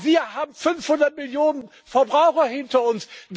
Aber wir haben 500 Millionen Verbraucher hinter uns.